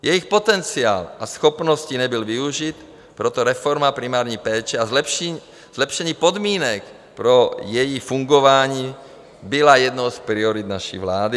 Jejich potenciál a schopnosti nebyly využity, proto reforma primární péče a zlepšení podmínek pro její fungování byly jednou z priorit naší vlády.